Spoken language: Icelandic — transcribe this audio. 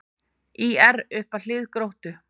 ÍR upp að hlið Gróttu